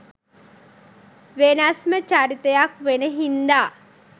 වෙනස්ම චරිතයක් වෙන හින්දා.